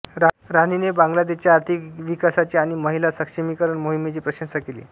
राणीने बांगलादेशच्या आर्थिक विकासाची आणि महिला सक्षमीकरण मोहिमेची प्रशंसा केली